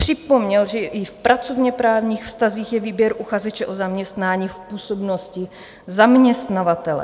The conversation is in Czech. Připomněl, že i v pracovněprávních vztazích je výběr uchazeče o zaměstnání v působnosti zaměstnavatele.